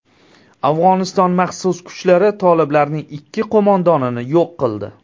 Afg‘oniston maxsus kuchlari toliblarning ikki qo‘mondonini yo‘q qildi.